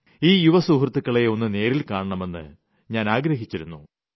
ഈ യുവസുഹൃത്തുക്കളെ ഒന്നു നേരിൽ കാണണമെന്ന് ഞാൻ ആഗ്രഹിച്ചിരുന്നു